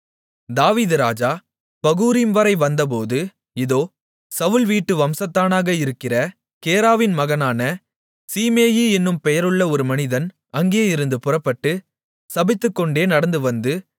தாவீது ராஜா பகூரிம்வரை வந்தபோது இதோ சவுல் வீட்டு வம்சத்தானாக இருக்கிற கேராவின் மகனான சீமேயி என்னும் பெயருள்ள ஒரு மனிதன் அங்கேயிருந்து புறப்பட்டு சபித்துக்கொண்டே நடந்துவந்து